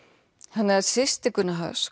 þannig að systir Gunna